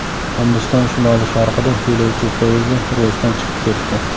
Hindiston shimoli-sharqida yo‘lovchi poyezdi relsdan chiqib ketdi.